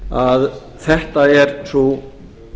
að þetta er sú